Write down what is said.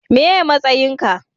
meye matsayin ka?